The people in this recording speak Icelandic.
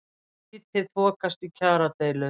Lítið þokast í kjaradeilu